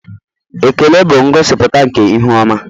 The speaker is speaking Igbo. Ekele bụ ngosipụta nke ihu ọma.